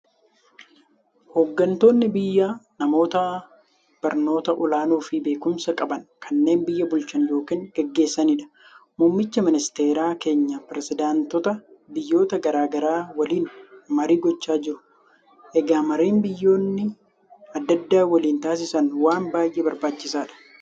Hooggantoonni biyyaa namoota barnoota olaanoofi beekumsa qaban, kanneen biyya bulchan yookiin gaggeessaniidha. Muummichi ministeeraa keenya pirisidaantota biyyoota garaa garaa waliin marii gochaa jiru. Egaa mariin biyyoonni adda addaa waliin taasisan waan baay'ee barbaachisaadha.